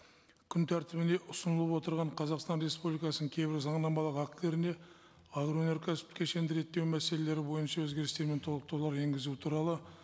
күн тәртібіне ұсынылып отырған қазақстан республикасының кейбір заңнамалық актілеріне агроөнеркәсіптік кешенді реттеу мәселелері бойынша өзгерістер мен толықтырулар енгізу туралы